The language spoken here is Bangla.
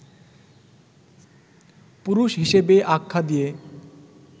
পুরুষ হিসেবে আখ্যা দিয়ে